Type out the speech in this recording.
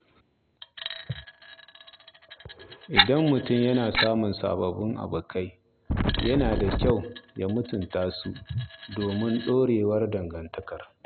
Idan mutum ya samu sababbin abokai, yana da kyau ya mutunta su domin ɗorewar dangantakar.